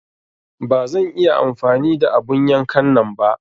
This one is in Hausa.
Ba zan iya amfani da abun yankan nan ba.